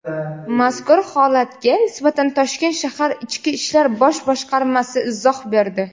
Mazkur holatga nisbatan Toshkent shahar Ichki ishlar bosh boshqarmasi izoh berdi.